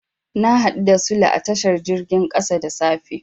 Na haɗu da Sule a tashar jirgin ƙasa da safe.